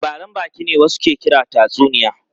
Labaran baki ne wasu ke kira tatsuniya.